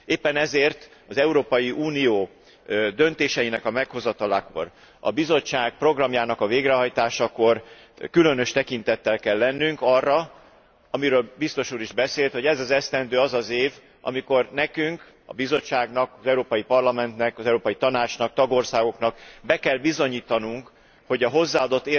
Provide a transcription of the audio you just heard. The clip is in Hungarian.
Éppen ezért az Európai Unió döntéseinek a meghozatalakor, a Bizottság programjának a végrehajtásakor különös tekintettel kell lennünk arra, amiről a Biztos úr is beszélt, hogy ez az az év, amikor nekünk a Bizottságnak, az Európai Parlamentnek, az Európai Tanácsnak, a tagországoknak be kell bizonyítanunk, hogy az